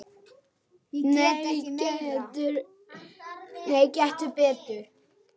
Nei, gettu betur